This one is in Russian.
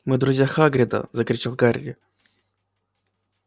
мы друзья хагрида закричал гарри